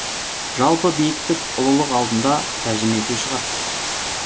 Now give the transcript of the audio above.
жалпы биіктік ұлылық алдында тәжім ету шығар